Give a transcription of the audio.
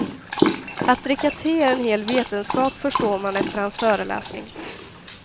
Att dricka te är en hel vetenskap förstår man efter hans föreläsning.